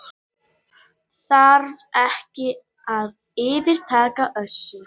Þá er fyrsta deild kvenna einnig á dagskrá.